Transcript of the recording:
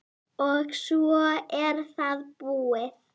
og svo er það búið.